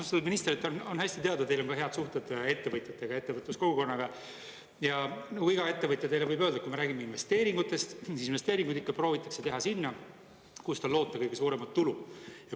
Austatud ministrile on hästi teada, teil on head suhted ettevõtjatega, ettevõtluskogukonnaga, ja iga ettevõtja võib teile öelda, et kui me räägime investeeringutest, siis investeeringuid ikka proovitakse teha sinna, kus on loota kõige suuremat tulu.